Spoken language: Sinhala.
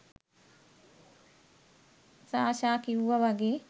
සාෂා කිව්වා වගේ